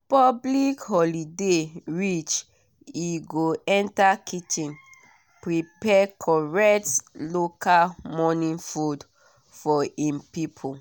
public holiday reach e go enter kitchen prepare correct local morning food for him people.